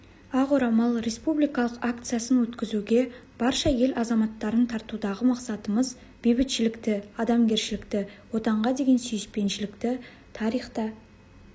ақ орамал республикалық акциясын өткізуге барша ел азаматтарын тартудағы мақсатымыз бейбітшілікті адамгершілікті отанға деген сүйіспеншілікті тарихта